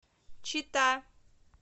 чита